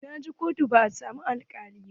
Na je kotu ban samu alkalin ba.